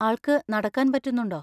ആൾക്ക് നടക്കാൻ പറ്റുന്നുണ്ടോ?